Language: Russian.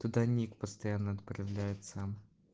даник постоянно отправляет сама